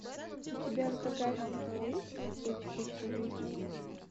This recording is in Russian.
у тебя в загашнике есть путь к личной жизни